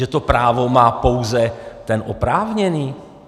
Že to právo má pouze ten oprávněný?